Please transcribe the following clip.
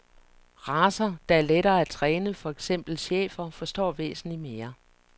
Racer, der er lettere at træne, for eksempel schæfer, forstår væsentlig mere.